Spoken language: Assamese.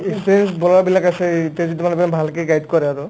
experience bowler বিলাক আছেই এতিয়া যদি তোমালোকে অকন ভালকে guide কৰা আৰু